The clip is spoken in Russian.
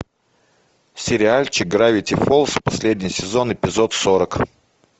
сериальчик гравити фолз последний сезон эпизод сорок